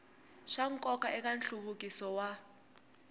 swa nkoka eka nhluvukiso wa